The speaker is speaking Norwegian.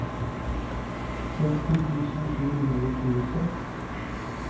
seksti tusen sju hundre og tjueseks